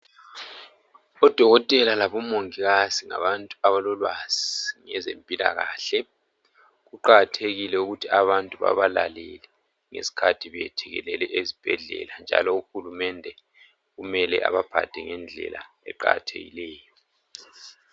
Odokotela labomongikazi ngabantu abalolwazi ngezempilakahle kuqakathekile ukuthi abantu babalalele ngesikhathi beyethekelele ezibhedlela njalo uhulumende kumele abaphathe ngendlela eqakathekileyo